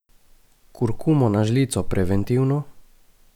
Kurkumo na žlico preventivno?